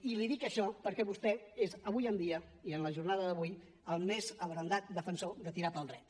i li dic això perquè vostè és avui dia i en la jornada d’avui el més abrandat defensor de tirar pel dret